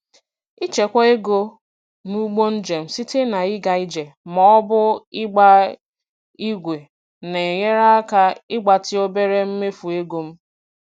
Ịchekwa ego n'ụgbọ njem site na ịga ije ma ọ bụ ịgba ígwè na-enyere aka ịgbatị obere mmefu ego m.